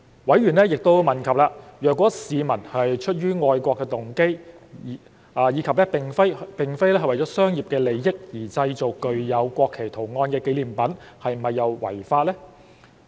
委員亦問及，如果市民出於愛國動機及並非為了商業利益而製造了具有國旗圖案的紀念品又是否違法。